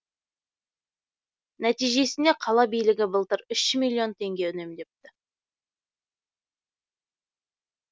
нәтижесінде қала билігі былтыр үш миллион теңге үнемдепті